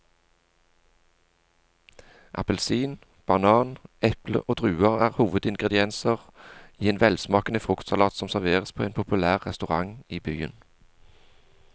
Appelsin, banan, eple og druer er hovedingredienser i en velsmakende fruktsalat som serveres på en populær restaurant i byen.